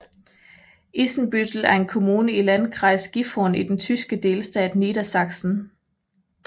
Isenbüttel er en kommune i Landkreis Gifhorn i den tyske delstat Niedersachsen